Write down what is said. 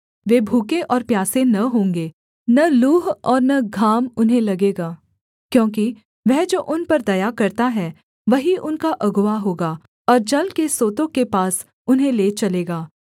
वे भूखे और प्यासे न होंगे न लूह और न घाम उन्हें लगेगा क्योंकि वह जो उन पर दया करता है वही उनका अगुआ होगा और जल के सोतों के पास उन्हें ले चलेगा